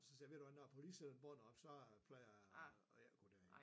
Så siger jeg ved du hvad når politiet sætter bånd op så plejer jeg ikke gå derind